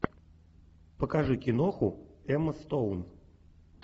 покажи киноху эмма стоун